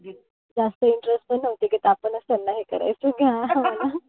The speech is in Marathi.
जास्त interest पण नव्हती. कि आपणच त्यांना हे करायचो कि हा